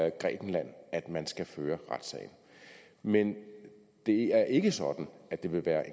i grækenland at man skal føre sagen men det er ikke sådan at det vil være